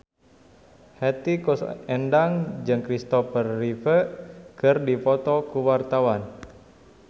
Hetty Koes Endang jeung Christopher Reeve keur dipoto ku wartawan